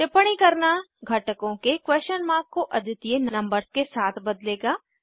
टिप्पणी करना घटकों के क्वेश्चन मार्क को अद्वितीय नंबर्स के साथ बदलेगा